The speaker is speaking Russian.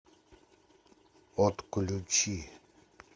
отключи